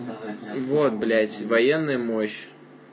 вот блять военная мощь